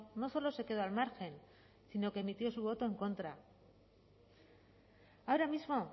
no solo se quedó al margen sino que es emitió su voto en contra ahora mismo